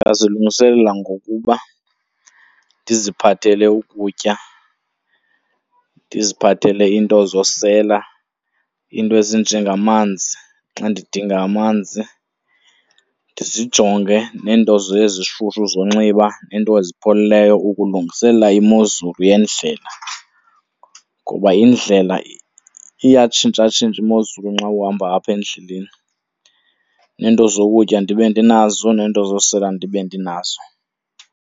Ndingazilungiselela ngokuba ndiziphathele ukutya, ndiziphathele iinto zosela, iinto ezinjengamanzi xa ndidinga amanzi. Ndizijonge neento ezishushu zonxiba neento ozipheleleyo ukulungiselela imozulu yendlela ngoba indlela iyatshintshatshintsha imozulu xa uhamba apha endleleni, neento zokutya ndibe ndinazo neento zosela ndibe ndinazo.